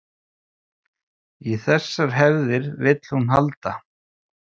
Í þessar hefðir vill hún halda